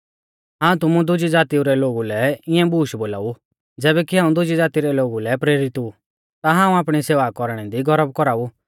हाऊं तुमु दुजी ज़ातीऊ रै लोगु लै इऐं बूश बोलाऊ ज़ैबै कि हाऊं दुजी ज़ाती रै लोगु लै प्रेरित ऊ ता हाऊं आपणी सेवा कौरणै दी गौरब कौराऊ